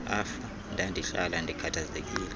afa ndandihlala ndikhathazekile